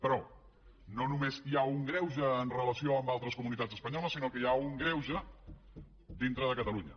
però no només hi ha un greuge amb relació a altres comunitats espanyoles sinó que hi ha un greuge dintre de catalunya